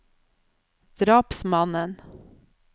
drapsmannen